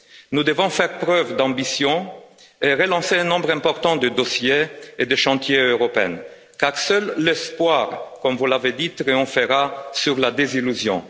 Nous devons faire preuve d'ambition et relancer un nombre important de dossiers et de chantiers européens car seul l'espoir, comme vous l'avez dit, triomphera de la désillusion.